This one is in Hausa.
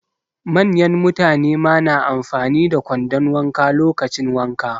Manyan mutane ma na amfani da kwandon wanka lokacin wanka.